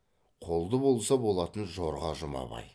қолды болса болатын жорға жұмабай